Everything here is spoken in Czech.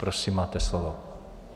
Prosím, máte slovo.